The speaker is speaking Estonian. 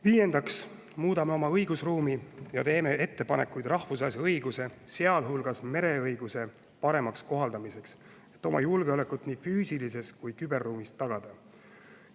Viiendaks muudame oma õigusruumi ja teeme ettepanekuid rahvusvahelise õiguse, sealhulgas mereõiguse, paremaks kohaldamiseks, et oma julgeolekut nii füüsilises kui ka küberruumis tagada.